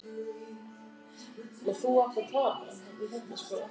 Jón Gunnarsson: Hef ég ekki heimild?